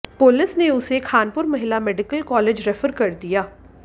police ने उसे खानपुर महिला मेडिकल कालेज रेफर कर दिया